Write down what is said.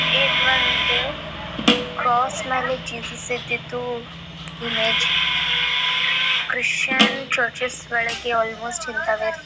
ಇದೊಂದು ಕ್ರಾಸ್ ಮ್ಯಾಲೆ ಜೀಸಸ್ ಇದ್ದದ್ದು ಇಮೇಜ್ ಕ್ರಿಸ್ಟಿಯಾನ್ಸ್ ಚರ್ಚ್ ಒಳಗೆ ಆಲ್ಮೋಸ್ಟ್ ಇಂತವೆ ಇರ್ತ --